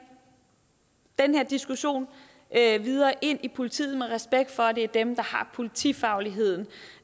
den her diskussionen videre ind i politiet med respekt for at det er dem der har politifagligheden